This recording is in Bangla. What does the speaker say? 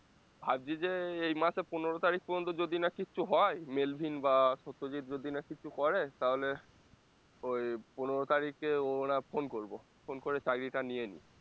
ভাবছি যে এই মাসের পনেরো তারিখ পর্যন্ত যদি না কিচ্ছু হয়, মেলভিন বা সত্যজিৎ যদি না কিছু করে তাহলে ওই পনেরো তারিখে ওরা phone করবো phone করে চাকরিটা নিয়ে নিই